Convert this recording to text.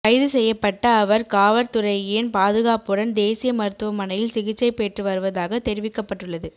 கைது செய்யப்பட்ட அவர் காவற்துறையின் பாதுகாப்புடன் தேசிய மருத்துவமனையில் சிகிச்சை பெற்று வருவதாக தெரிவிக்கப்பட்டுள்ளது